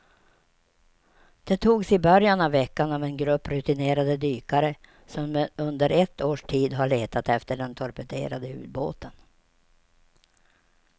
De togs i början av veckan av en grupp rutinerade dykare som under ett års tid har letat efter den torpederade ubåten.